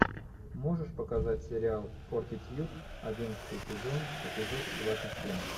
можешь показать сериал фортитьюд одиннадцатый сезон эпизод двадцать семь